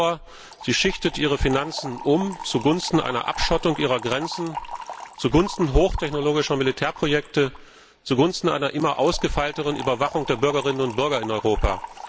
Genauer Sie schichtet ihre Finanzen um zugunsten einer Abschottung ihrer Grenzen, zugunsten hochtechnologischer Militärprojekte und zugunsten einer immer ausgefeilteren Überwachung der Bürgerinnen und Bürger in Europa.